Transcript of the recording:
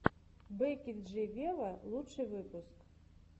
бекки джи вево лучший выпуск